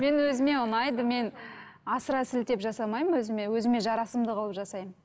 мен өзіме ұнайды мен асыра сілтеп жасамаймын өзіме өзіме жарасымды қылып жасаймын